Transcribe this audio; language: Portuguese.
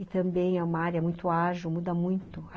E também é uma área muito ágil, muda muito.